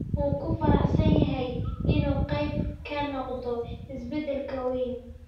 Wuu ku faraxsan yahay inuu qayb ka noqdo isbeddelkan weyn.